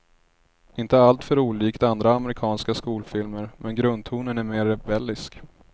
Inte alltför olikt andra amerikanska skolfilmer, men grundtonen är mer rebellisk.